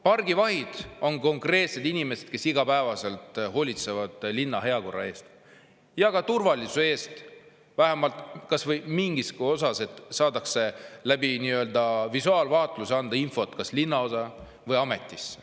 Pargivahid on konkreetsed inimesed, kes igapäevaselt hoolitsevad linna heakorra eest ja ka turvalisuse eest, annavad visuaalvaatluse abil vähemalt mingiski osas linnaosa või linnaametile infot.